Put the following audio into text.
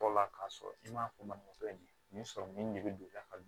Tɔ la k'a sɔrɔ i ma fɔ manɔgɔ ye nin sɔrɔ nin de bɛ don a ka